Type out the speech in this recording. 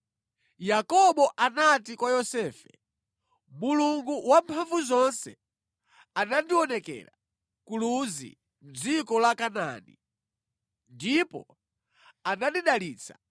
Yakobo anati kwa Yosefe, “Mulungu Wamphamvuzonse anandionekera ku Luzi mʼdziko la Kanaani, ndipo anandidalitsa,